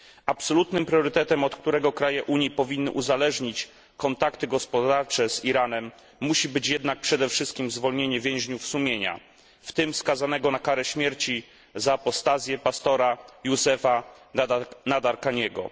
Absolutnym priorytetem, od którego kraje Unii powinny uzależnić kontakty gospodarcze z Iranem, musi być jednak przede wszystkim zwolnienie więźniów sumienia, w tym skazanego na karę śmierci za apostazję pastora Youcefa Nadarkhaniego.